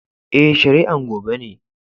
Eh, shari'an gobe ne.